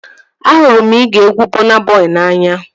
Ahụrụ m igee egwu Bọna Bọi n'anya